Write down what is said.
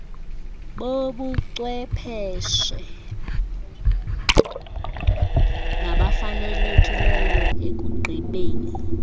bobucwepheshe nabafanelekileyo ekugqibeni